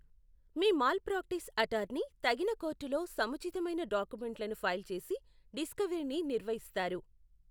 మీ malpractice attorney తగిన కోర్టులో సముచితమైన డాక్యుమెంట్లను ఫైల్ చేసి డిస్కవరీని నిర్వహిస్తారు.